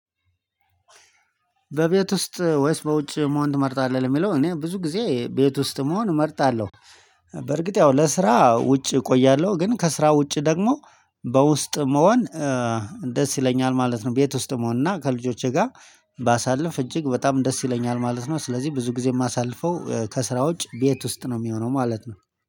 በቤት ውስጥ ወይስ በውጭ መሆን ትመርጣለህ? ለሚለው እኔ ብዙ ጊዜ ቤት ውስጥ መሆን እመርጣለሁ። በርግጥ ያው ለስራ ውጭ እቆያለሁ ግን ከስራ ውጭ ደግሞ በውስጥ መሆን እ ደስ ይለኛል ማለት ነው። ቤት ውስጥ መሆን እና ከልጆቼ ጋር ባሳልፍ እጅግ በጣም ደስ ይለኛል ማለት ነው። ስለዚህ ብዙ ጊዜ የማሳልፈው ከስራ ውጭ ቤት ውስጥ ነው የሚሆነው ማለት ነው